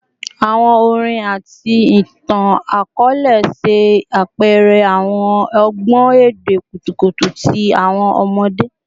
Awọn orin ati itan-akọọlẹ ṣe apẹrẹ awọn ọgbọn ede kutukutu ti awọn ọmọde